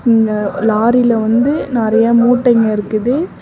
இந்த லாரில வந்து நெறைய மூட்டைங்க இருக்குது.